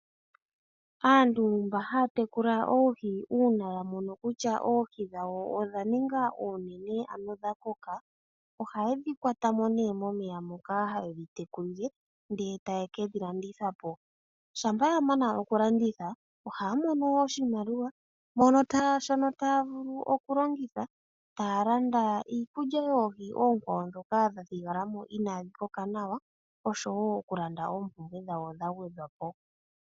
Aantu mba haya tekula oohi uuna ya mono kutya oohi dhawo odha ninga oonene ano dha koka, ohaye dhi kwata mo neah momeya moka haye dhi tekulile ndee taye ke dhi landitha po. Shampa ya mana okulanditha, ohaa mono wo oshimaliwa, mono taa, shono taa vulu oku longitha taya landa iikulya yoohi oonkwawo ndhoka dha thigala mo inaa dhi koka nawa osho woo okulanda oompumbwe dhawo dha gwedhwa po.